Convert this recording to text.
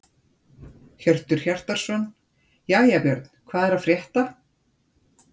Hjörtur Hjartarson: Jæja Björn, hvað er að frétta?